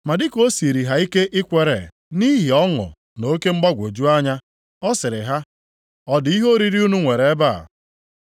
Ma dị ka o siiri ha ike ikwere nʼihi ọṅụ na oke mgbagwoju anya, ọ sịrị ha, “Ọ dị ihe oriri unu nwere ebe a?”